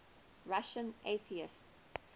russian atheists